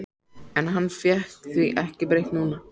En hann fékk því ekki breytt núna.